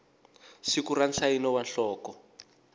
siku na nsayino wa nhloko